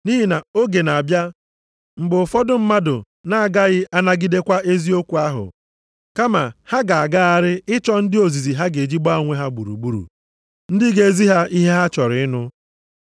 Nʼihi na oge na-abịa mgbe ụfọdụ mmadụ na-agaghị anagidekwa eziokwu ahụ, kama ha ga-agagharị ịchọ ndị ozizi ha ga-eji gbaa onwe ha gburugburu, ndị ga-ezi ha ihe ha chọrọ ịnụ.